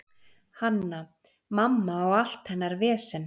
Hanna-Mamma og allt hennar vesen.